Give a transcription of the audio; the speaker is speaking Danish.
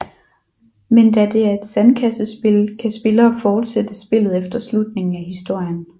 Men da det er et sandkassespil kan spillere fortsætte spillet efter slutningen af historien